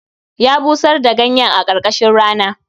Ya busar da ganyen a karkashin rana